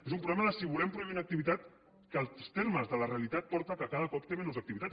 és un problema del fet que si volem prohibir una activitat que els termes de la realitat porta que cada cop té menys activitat